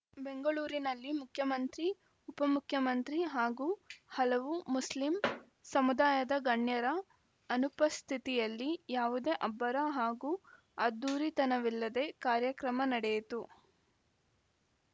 ಬೆಂಗಳೂರಿನಲ್ಲಿ ಮುಖ್ಯಮಂತ್ರಿ ಉಪ ಮುಖ್ಯಮಂತ್ರಿ ಹಾಗೂ ಹಲವು ಮುಸ್ಲಿಂ ಸಮುದಾಯದ ಗಣ್ಯರ ಅನುಪಸ್ಥಿತಿಯಲ್ಲಿ ಯಾವುದೇ ಅಬ್ಬರ ಹಾಗೂ ಅದ್ಧೂರಿತನವಿಲ್ಲದೆ ಕಾರ್ಯಕ್ರಮ ನಡೆಯಿತು